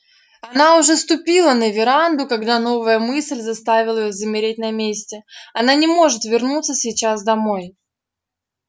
она уже ступила на веранду когда новая мысль заставила её замереть на месте она не может вернуться сейчас домой